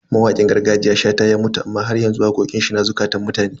Mawakin gargajiya Shata ya mutu amma haryanzu waƙoƙin shi na zukatan mutane.